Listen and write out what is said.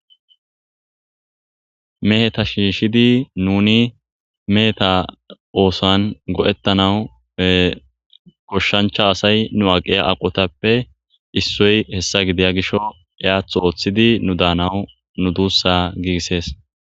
meheta shiishidi nuni meheta oosan go7ettanawu goshshancha asay nu aqiya aqotappe issoy hessa gidiya gisho yaath ooththidi nu daanawu nu duussa giigissees